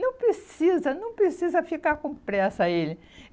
Não precisa, não precisa ficar com pressa, ele.